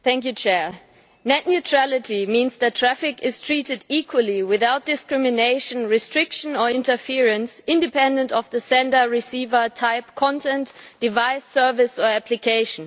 Mr President, net neutrality means that traffic is treated equally without discrimination, restriction or interference, independent of the sender-receiver type, content, device, service or application.